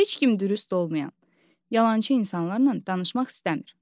Heç kim dürüst olmayan, yalançı insanlarla danışmaq istəmir.